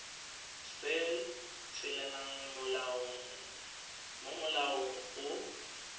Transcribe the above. se tshelelang mo molaong go